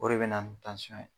O de bɛ na ni tansyɔn ye.